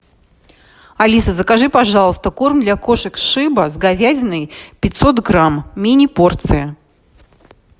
алиса закажи пожалуйста корм для кошек шеба с говядиной пятьсот грамм мини порция